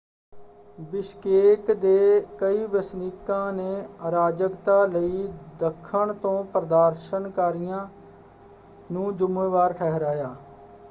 Bishkek ਦੇ ਕਈ ਵਸਨੀਕਾਂ ਨੇ ਅਰਾਜਕਤਾ ਲਈ ਦੱਖਣ ਤੋਂ ਪ੍ਰਦਰਸ਼ਨਕਾਰੀਆਂ ਨੂੰ ਜ਼ੁੰਮੇਵਾਰ ਠਹਿਰਾਇਆ।